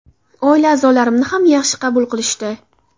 Oila a’zolarimni ham yaxshi qabul qilishdi.